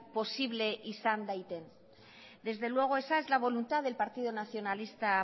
posible izan daite desde luego esa es la voluntad del partido nacionalista